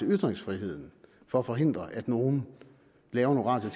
ytringsfriheden for at forhindre at nogen laver nogle radio